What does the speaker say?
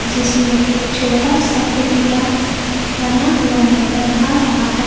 जिसमें एक छोटा सा कुटिया बना हुआ नजर आ रहा है।